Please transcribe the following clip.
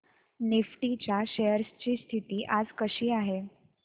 Nifty च्या shares ची स्थिती आज कशी आहे